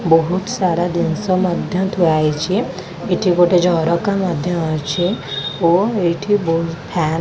ବୋହୁତ୍ ସାରା ଦିନ୍ସ ମଧ୍ୟ ଥୁଆହେଇଛି ଏଠି ଗୋଟେ ଝରକା ମଧ୍ୟ ଅଛି ଓ ଏଇଠି ବୋହୁ ଫ୍ୟାନ୍ --